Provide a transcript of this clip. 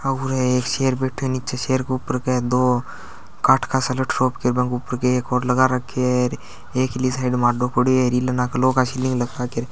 उर एक शेर बेठो ए नीचे शेर को उपर के दो काठ का सा लठ रोप के फेर बे के ऊपर के आरो और लगा रखो और एक इली साइड में आड़ो पड़ो है और इन्ले नाके लौह के शिलिंग लगा के --